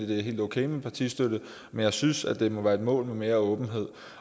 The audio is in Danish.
det er helt okay med partistøtte men jeg synes at det må være et mål at få mere åbenhed